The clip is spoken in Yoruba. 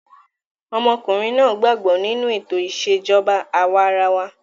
Ọmọkùnrin náà gbàgbọ́ nínú ètò ìṣèjọba àwa arawa.